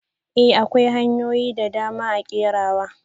I! akwai hanyoyin dadama a kerawa.